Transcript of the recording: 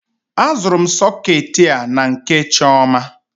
A zụrụ m soketi a na nke Chioma.